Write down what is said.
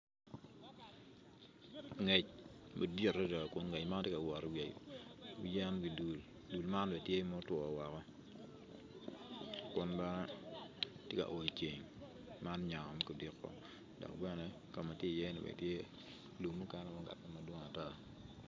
Ngec madit adada kun ngec man tye ka wot iwi yen idul dul m an bene tye ma otwo woko kun bene gitye ka oyo ceng man nyango me kudiko dok bene ka ma tye iye-ni tye lum mukene madwong ata.